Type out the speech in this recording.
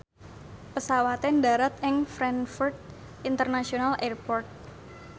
pesawate ndharat ing Frankfurt International Airport